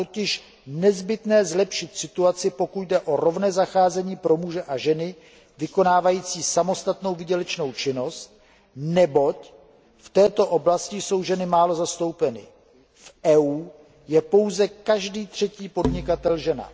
Je totiž nezbytné zlepšit situaci, pokud jde o rovné zacházení pro muže a ženy vykonávající samostatnou výdělečnou činnost, neboť v této oblasti jsou ženy málo zastoupeny v EU je pouze každý třetí podnikatel žena.